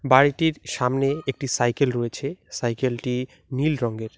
বাড়িটির সামনে একটি সাইকেল রয়েছে সাইকেলটি নীল রংয়ের।